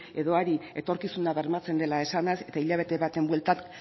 edo hari etorkizuna bermatzen dela esanez eta hilabete baten bueltan